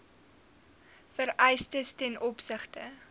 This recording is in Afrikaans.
vereistes ten opsigte